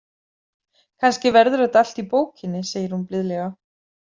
Kannski verður þetta allt í bókinni, segir hún blíðlega.